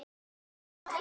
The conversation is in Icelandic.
Tvö mál.